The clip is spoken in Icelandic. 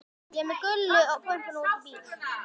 Ég er með gulu möppuna úti í bíl.